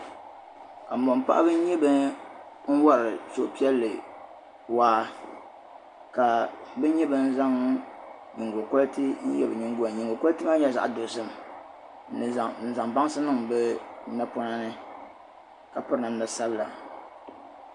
Kabɔn paɣiba. n nyɛ ban wari suhi piɛli waa. ka bi nyɛ ban zaŋ. nyingo kukoliti n yɛ bi nyingoyani. nyingo kukoliti maa nyɛla zaɣ' dɔzim ni zaŋ bansi n niŋ bi napɔnani ka piri namda sabila.